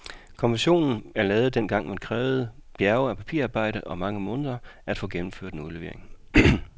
Konventionen er lavet, dengang det krævede bjerge af papirarbejde og mange måneder at få gennemført en udlevering.